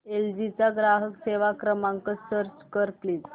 L G चा ग्राहक सेवा क्रमांक सर्च कर प्लीज